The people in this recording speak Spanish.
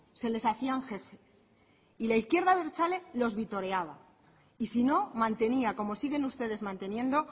se les hacían jefe y la izquierda abertzale los vitoreaba y si no mantenía como sigue ustedes manteniendo